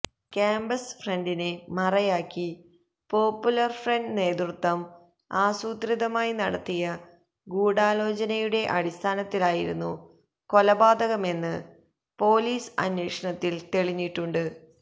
campus ഫ്രണ്ടിനെ മറയാക്കി Popular Front നേതൃത്വം ആസൂത്രിതമായി നടത്തിയ ഗൂഢാലോചനയുടെ അടിസ്ഥാനത്തിലായിരുന്നു കൊലപാതകമെന്ന് പോലീസ് അന്വേഷണത്തില് തെളിഞ്ഞിട്ടുണ്ട്